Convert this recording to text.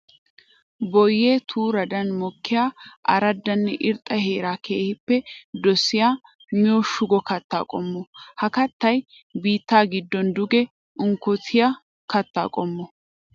Boyye turaddan mokkiya araddanne irxxa heera keehippe dosiya miyo shugo katta qommo. Ha kattay biitta giddo duge unkkottiya katta qommo.